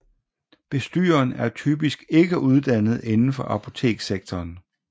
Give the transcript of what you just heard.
Bestyreren er typisk ikke uddannet inden for apotekssektoren